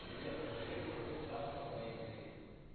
привет проверь уровень сахара в моей крови